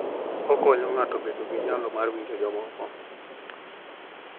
Okonyo ng'ato bedo gi nyalo mar winjo jomoko.